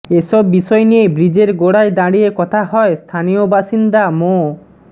এসব বিষয় নিয়ে ব্রিজের গোড়ায় দাঁড়িয়ে কথা হয় স্থানীয় বাসিন্দা মো